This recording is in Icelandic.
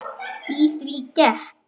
Í því gekk